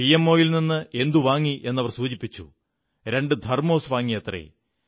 പിഎംഒയിൽ എന്ത് വാങ്ങിയെന്ന് അവർ സൂചിപ്പിച്ചു രണ്ടു തെർമോസ് വാങ്ങിയത്രേ